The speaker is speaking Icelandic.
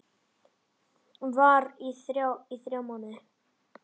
Var þar í þrjá mánuði.